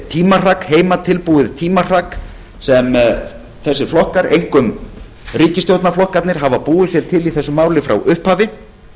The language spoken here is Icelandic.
tímahrak heimatilbúið tímahrak sem þessir flokkar einkum ríkisstjórnarflokkarnir hafa búið sér til í þessu máli frá upphafi